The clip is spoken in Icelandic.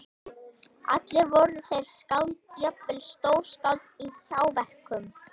Allir voru þeir skáld, jafnvel stórskáld- í hjáverkum.